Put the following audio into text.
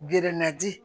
Gɛrɛnnaji